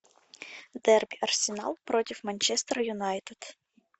дерби арсенал против манчестер юнайтед